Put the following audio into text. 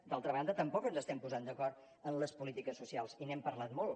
d’altra banda tampoc ens estem posant d’acord en les polítiques socials i n’hem parlat molt